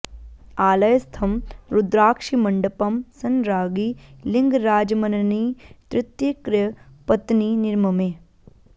आलयस्थं रुदाक्षिमण्डपं संराज्ञी लिन्गराजम्मण्णी तृतीय कृ पत्नी निर्ममे